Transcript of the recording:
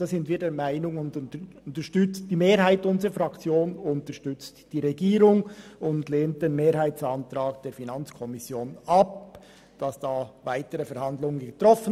Deshalb unterstützt die Mehrheit unserer Fraktion die Regierung und lehnt den Mehrheitsantrag der FiKo für eine Weiterverhandlung ab.